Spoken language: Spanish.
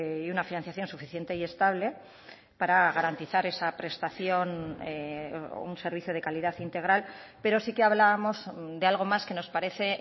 y una financiación suficiente y estable para garantizar esa prestación o un servicio de calidad integral pero sí que hablábamos de algo más que nos parece